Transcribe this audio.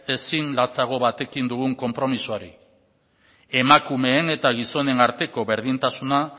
ezin latzago batekin dugun konpromisoari emakumeen eta gizonen arteko berdintasuna